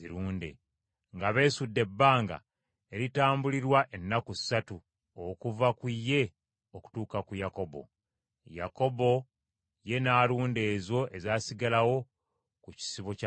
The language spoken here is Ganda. nga beesudde ebbanga eritambulirwa ennaku ssatu okuva ku ye okutuuka ku Yakobo. Yakobo ye n’alunda ezo ezaasigalawo ku kisibo kya Labbaani.